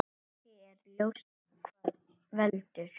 Ekki er ljóst hvað veldur.